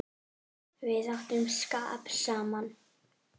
Við áttum skap saman.